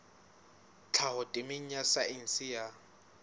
tlhaho temeng ya saense ya